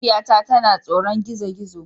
Mahaifiyata tana tsoron gizo-gizo